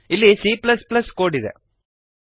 ಇಲ್ಲಿ cಕೋಡ್ ಇದೆ